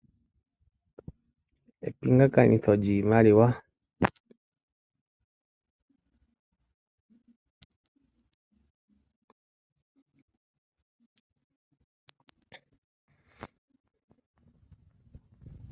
Epingakanitho lyiimaliwa, mono omulandi taagandja iimaliwa komulandithi opo avule apewe shoka ahala okulanda.